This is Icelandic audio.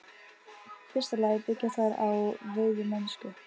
fyrsta lagi byggja þær á veiðimennsku.